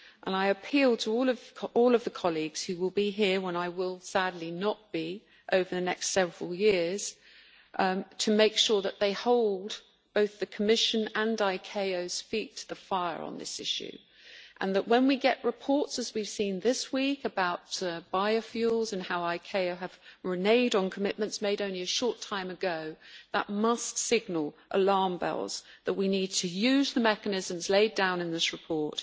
I appeal to all of the colleagues who will be here when I will sadly not be, over the next several years, to make sure that they hold both the Commission and ICAO's feet to the fire on this issue and that when we get reports, as we've seen this week, about biofuels and how ICAO have reneged on commitments made only a short time ago, that must signal alarm bells that we need to use the mechanisms laid down in this report